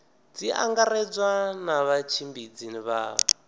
tshi angaredzwa na vhatshimbidzi vha